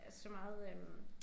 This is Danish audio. Øh så meget øh